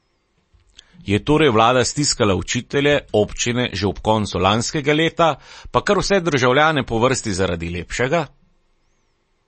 Je torej vlada stiskala učitelje, občine, že ob koncu lanskega leta pa kar vse državljane po vrsti zaradi lepšega?